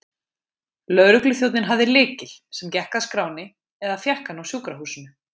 Lögregluþjónninn hafði lykil, sem gekk að skránni, eða fékk hann á sjúkrahúsinu.